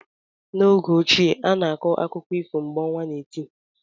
N'oge ochie, a na-akọ akụkọ ifo mgbe ọnwa na eti.